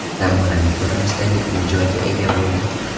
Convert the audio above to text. Zamonaviy ko‘rinishdagi uy-joyga ega bo‘ldik.